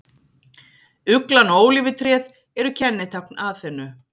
Uglan og ólífutréð eru kennitákn Aþenu.